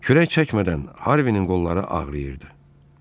Kürək çəkmədən Harvinin qolları ağrıyırdı.